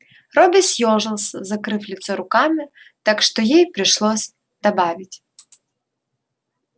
робби съёжился закрыв лицо руками так что ей пришлось добавить